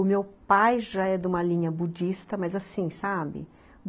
O meu pai já é de uma linha budista, mas assim, sabe?